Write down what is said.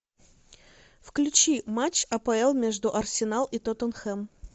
включи матч апл между арсенал и тоттенхэм